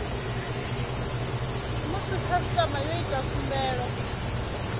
musi khasitama yo ita khumbelo